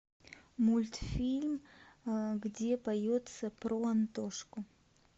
мультфильм где поется про антошку